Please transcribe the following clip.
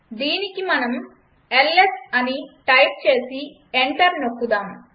దీనికి మనం ల్స్ అని టైప్ చేసి ఎంటర్ నొక్కుదాం